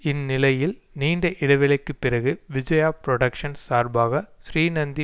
இந்நிலையில் நீண்ட இடைவேளைக்கு பிறகு விஜயா புரொடக்ஷ்ன்ஸ் சார்பாக ஸ்ரீநந்தி